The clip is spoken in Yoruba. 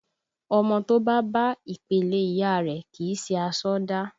Ọmọ to bá bá ìpèlé ìyá rẹ, kì í sì aṣọ dá